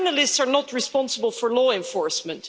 But journalists are not responsible for law enforcement.